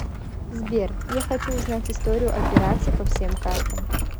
сбер я хочу узнать историю операций по всем картам